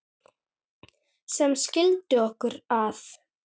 sem skildi okkur að